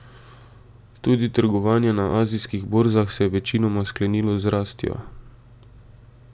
Tudi trgovanje na azijskih borzah se je večinoma sklenilo z rastjo.